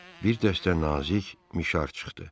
bir dəstə nazik mişar çıxdı.